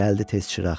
Gəldi tez çıraq.